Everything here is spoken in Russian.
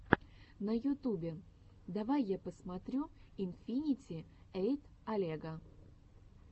на ютубе давай я посмотрю инфинити эйт олега